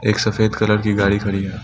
सफेद कलर की गाड़ी खड़ी है।